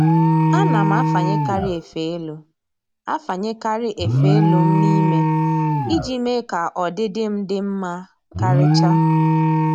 Ana m afanyekarị efe elu afanyekarị efe elu m n'ime iji mee ka ọdịdị m dị mma karịcha